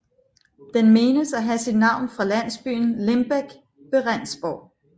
Den menes at have sit navn fra landsbyen Limbek ved Rendsborg